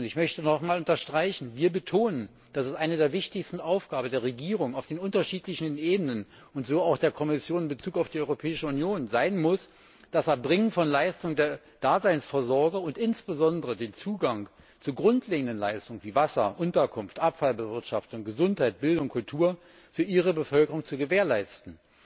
Ich möchte noch einmal unterstreichen Wir betonen, dass es eine der wichtigsten Aufgaben der Regierungen auf den unterschiedlichen Ebenen und so auch der Kommission in Bezug auf die Europäische Union sein muss, das Erbringen von Leistungen der Daseinvorsorger und insbesondere den Zugang zu grundlegenden Leistungen wie Wasser, Unterkunft, Abfallbewirtschaftung, Gesundheit, Bildung, Kultur für ihre Bevölkerung zu gewährleisten.